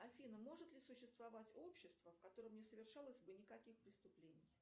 афина может ли существовать общество в котором не совершалось бы никаких преступлений